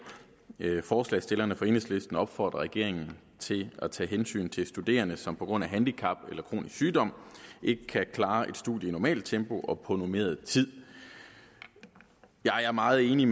forslagsstillerne fra enhedslisten opfordrer regeringen til at tage hensyn til studerende som på grund af handicap eller kronisk sygdom ikke kan klare et studie i normalt tempo og på normeret tid jeg er meget enig i